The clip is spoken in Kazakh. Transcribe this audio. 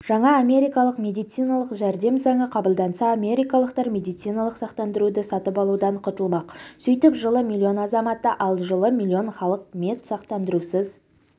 жаңа америкалық медициналық жәрдем заңы қабылданса америкалықтар медициналық сақтандыруды сатып алудан құтылмақ сөйтіп жылы миллион азаматы ал жылы миллион халық медсақтандырусыз